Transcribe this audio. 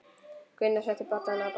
Gunnar setti bollana á borðið.